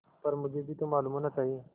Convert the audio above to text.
पर मुझे भी तो मालूम होना चाहिए